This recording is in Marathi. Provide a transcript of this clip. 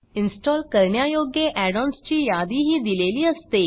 इन्स्टॉल करण्यायोग्य add ओएनएस ची यादीही दिलेली असते